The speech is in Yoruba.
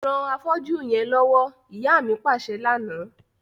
Ran afọ́jú yẹn lọwọ, ìyá mi paṣẹ lana.